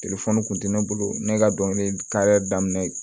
kun tɛ ne bolo ne ka dɔnkilida daminɛ